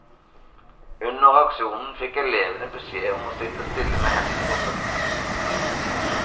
Under aksjonen fikk elevene beskjed om å sitte stille med hendene på pulten.